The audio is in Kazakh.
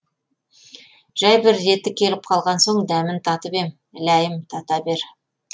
жай бір реті келіп қалған соң дәмін татып ем ләйім тата бер